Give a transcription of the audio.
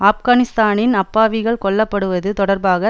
ஆப்கானிஸ்தானின் அப்பாவிகள் கொல்ல படுவது தொடர்பாக